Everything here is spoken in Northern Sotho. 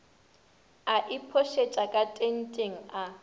a iphošetša ka tenteng a